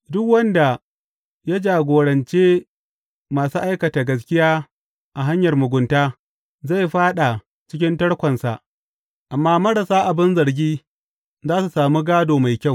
Duk wanda ya jagorance masu aikata gaskiya a hanyar mugunta zai fāɗa cikin tarkonsa amma marasa abin zargi za su sami gādo mai kyau.